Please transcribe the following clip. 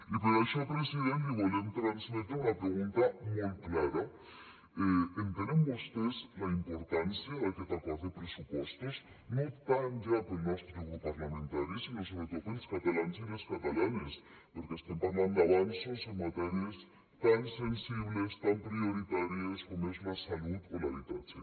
i per això president li volem transmetre una pregunta molt clara entenen vostès la importància d’aquest acord de pressupostos no tant ja per al nostre grup parlamentari sinó sobretot per als catalans i les catalanes perquè estem parlant d’avanços en matèries tan sensibles tan prioritàries com és la salut o l’habitatge